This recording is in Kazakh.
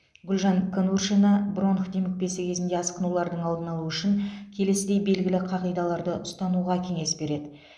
гүлжан конуршина бронх демікпесі кезінде асқынулардың алдын алу үшін келесідей белгілі қағидаларды ұстануға кеңес береді